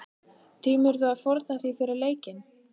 Tímirðu að fórna því fyrir leikinn?